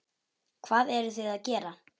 Hvað eruð þið að gera?